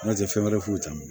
N'o tɛ fɛn wɛrɛ foyi t'a la